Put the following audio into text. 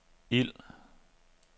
ild